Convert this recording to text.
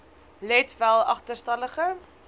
let wel agterstallige